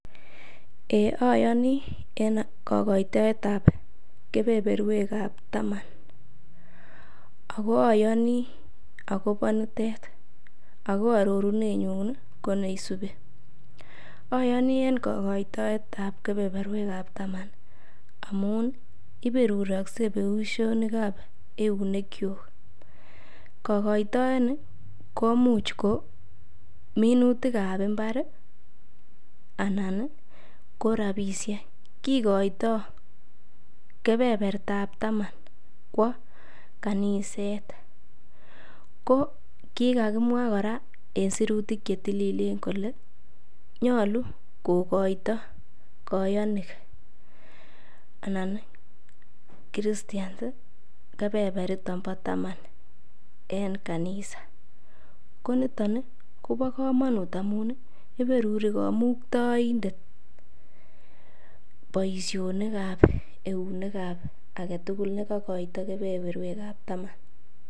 eeh oyoni en kogoitoet ab kebeberweek ab taman ago oyoni agobo niteet, ago ororunenyun iih koneisubi, oyonii en kogoitoet ab kebeberweek ab taman amuun iberuroske boishonik ab eunek kyuuk, kogoitoni koimuch kominutik ab imbaar iih anan ko rabishek, kigoitoo kebertaab taman kwoo kaniseet, kokigagimwaa koraa en sirutik chetililen kole nyolu kogoito koyonik anan christians iih kebeberiton bo taman en kanisa, ko niton iih kobo komonuut amuun iih iberuri komuktoindet boishonik ab eunineek ab agetugul negogoito kebeberweek ab taman.